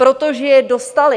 Protože je dostaly.